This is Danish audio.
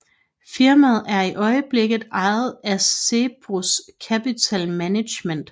Firmaet er i øjeblikket ejet af Cerberus Capital Management